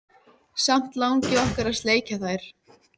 Samt langi okkur að sleikja þær.